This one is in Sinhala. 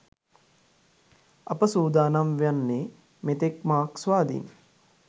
අප සූදානම් වන්නේ මෙතෙක් මාක්ස්වාදීන්